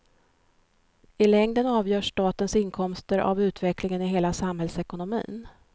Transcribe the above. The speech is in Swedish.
I längden avgörs statens inkomster av utvecklingen i hela samhällsekonomin.